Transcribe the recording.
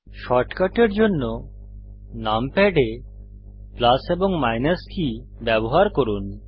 শর্টকাটের জন্য নামপ্যাড এ প্লাস এবং মাইনাস কী ব্যবহার করুন